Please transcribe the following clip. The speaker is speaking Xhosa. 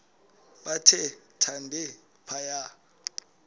bathe thande phaya